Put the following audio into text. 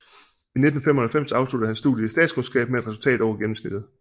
I 1995 afsluttede han studiet i statskundskab med et resultat over gennemsnittet